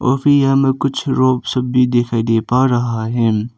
फिर हमें कुछ रोप सब भी दिखाई दे पा है।